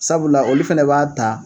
Sabula olu fɛnɛ b'a ta